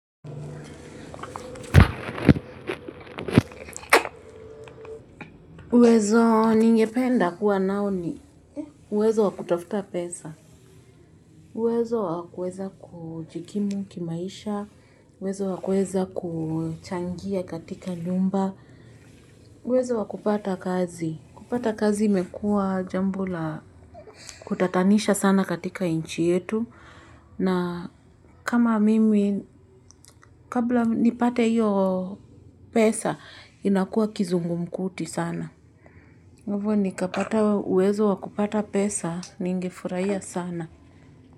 Uwezo ningependa kuwa nao ni uwezo wakutafuta pesa. Uwezo wakueza kujikimu kimaisha. Uwezo wakueza kuchangia katika nyumba. Uwezo wakupata kazi. Kupata kazi imekua jambo la kutatanisha sana katika inchi yetu. Na kama mimi kabla nipate iyo pesa inakua kizungumkuti sana. Hivo nikapata uwezo wakupata pesa ningefurahia sana.